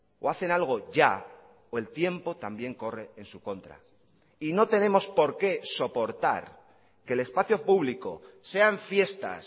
o hacen algo ya o el tiempo también corre en su contra y no tenemos porque soportar que el espacio público sean fiestas